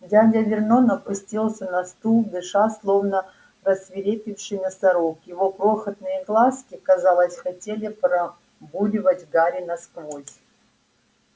дядя вернон опустился на стул дыша словно рассвирепевший носорог его крохотные глазки казалось хотели пробуравить гарри насквозь